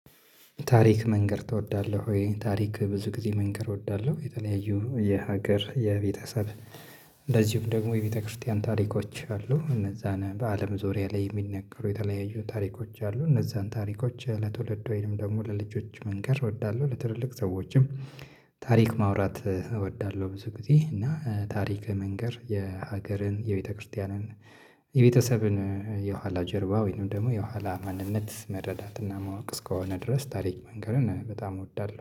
ታሪክ መንገር ትወዳለህ ወይ? ታሪክ ብዙ ጊዜ መንገር እወዳለሁ። የተለያዩ የሀገር የቤተሰብ እንደዚሁም ደግሞ የቤተክርስቲያን ታሪኮች አሉ እነዛን በአለም ዙሪያ ላይ የሚነገሩ የተለያዩ ታሪኮች አሉ እነዛን ታሪኮች ለትውልድ ወይንም ደግሞ ለልጆች መንገር እወዳለሁ ለትልልቅ ሰዎችም ታሪክ ማውራት እወዳለሁ ብዙ ጊዜ እና ታሪክ መንገር የሀገርን የቤተክርስቲያንን የቤተሰብን የኋላ ጀርባ ወይንም ደግሞ የኋላ ማንነት መረዳትና ማወቅ እስከሆነ ድረስ ታሪክ መንገርን በጣም እወዳለሁ